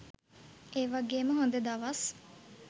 ඒ වගේම හොඳ දවස්